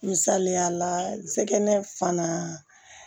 Misaliya la n sɛgɛn fana